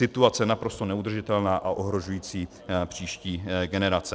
Situace naprosto neudržitelná a ohrožující příští generace.